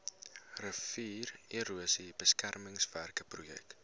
riviererosie beskermingswerke projek